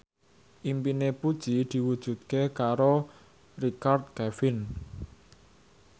impine Puji diwujudke karo Richard Kevin